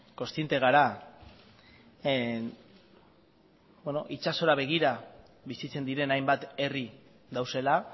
kontziente gara itsasora begira bizitzen diren hainbat herri daudela